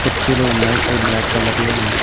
ఉచ్చీలు ఉన్నాయ్ అయి black colour లో ఉన్నాయి.